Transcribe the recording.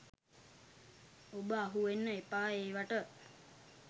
ඔබ අහුවෙන්න එපා ඒවට.